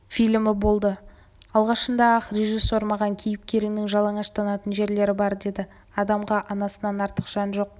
фильмі болды алғашында-ақ режиссер маған кейіпкеріңнің жалаңаштанатын жерлері бар деді адамға анасынан артық жан жоқ